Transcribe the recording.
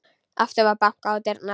Aftur var bankað á dyrnar.